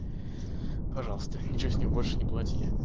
пожалуйста ничего с них больше не плати